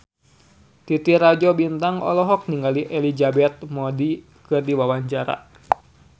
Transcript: Titi Rajo Bintang olohok ningali Elizabeth Moody keur diwawancara